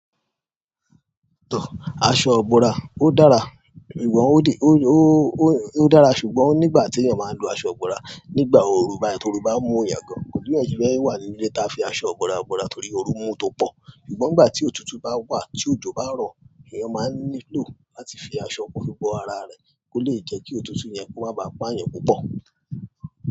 Aṣọ ibọ̀ra ó dára, ìwọ́n ó dé, ó dára ṣùgbọ́n nígbà tí èèyàn máa ń lo aṣọ ọ̀gbọ̀ra, nígbà òru báyìí torí òru bá mú èèyàn gan, kòsi bi eyan wà ní ilé ta fi aṣọ igbọ̀ra bọ̀ra torí òru mú u tó pọ̀. Ṣùgbọ́n ìgbà tí òtútù bá wà, tí òjò bá rọ, èèyàn máà ń nílò láti fi aṣọ kó fi bọ́ ara rẹ̀ kó lè jẹ́ kí òtútù yẹn kó má ba à pa èèyàn púpọ̀.